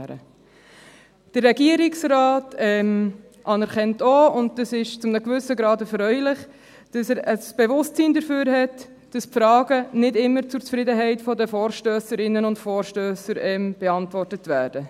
Der Regierungsrat anerkennt auch – und das ist zu einem gewissen Grad erfreulich –, dass er ein Bewusstsein dafür hat, dass die Fragen nicht immer zur Zufriedenheit der Vorstösserinnen und Vorstösser beantwortet werden.